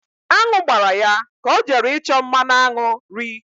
Aṅụ gbara ya ka ọ jere ịchọ mmanụ aṅụ.ri